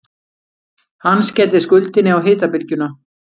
Hann skellir skuldinni á hitabylgjuna